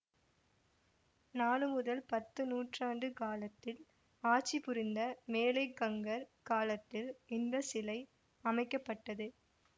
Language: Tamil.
நாலு முதல் பத்து நூற்றாண்டு காலத்தில் ஆட்சிபுரிந்த மேலைக்கங்கர் காலத்தில் இந்த சிலை அமைக்க பட்டது